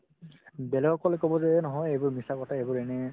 বেলেগক ক'লে ক'ব যে এই নহয় এইবোৰ মিছা কথা এইবোৰ এনেই